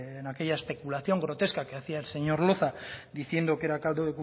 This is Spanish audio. en aquella especulación grotesca que hacía el señor loza diciendo que era caldo